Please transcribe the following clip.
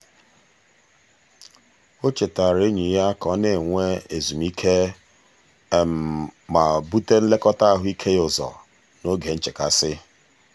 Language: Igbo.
o chetaara enyi ya ka ọ na-enwe ezumike ma bute nlekọta ahụike ya ụzọ n'oge nchekasị.